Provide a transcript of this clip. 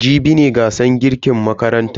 Jibi ne gasar girkin makarantan mu.